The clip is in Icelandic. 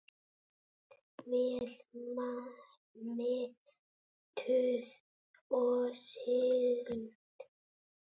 Vel menntuð og sigld.